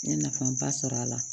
N ye nafaba sɔrɔ a la